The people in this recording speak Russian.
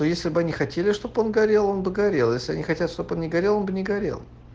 но если бы они хотели чтобы он горел он бы горел если они хотят чтоб он не горел он бы не горел